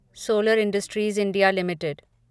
solar industries India limited